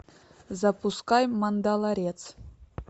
запускай мандалорец